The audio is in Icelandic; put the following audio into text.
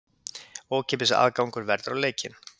Ókeypis aðgangur verður á leikinn.